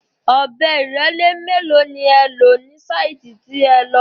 Ọ̀bẹ ìrẹ́lé mélòó ni ẹ lò ní sáìtì tí ẹ lọ?